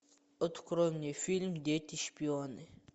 открой мне фильм дети шпионы